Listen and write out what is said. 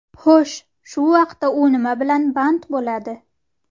Xo‘sh, shu vaqtda u nima bilan band bo‘ladi?